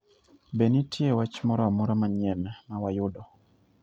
Be nitie wach moro amora manyien ma wayudo?